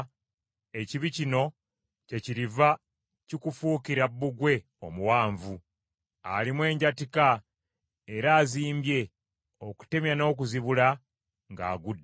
ekibi kino kyekiriva kikufuukira bbugwe omuwanvu, alimu enjatika era azimbye, okutemya n’okuzibula ng’agudde.